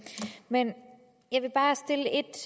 men